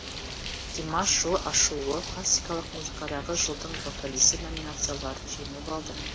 димаш жыл ашылуы классикалық музыкадағы жылдың вокалисі номинацияларын жеңіп алды